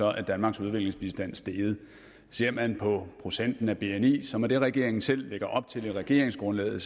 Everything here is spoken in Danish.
er danmarks udviklingsbistand steget ser man på procenten af bni som er den regeringen selv lægger op til i regeringsgrundlaget er